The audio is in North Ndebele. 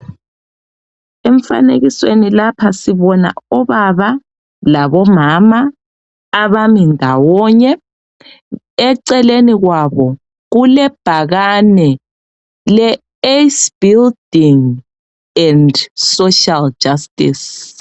Emfanekisweni lapha sibona obaba labomama abami ndawonye eceleni kwabo kulebhakani leAce building and Social Justice.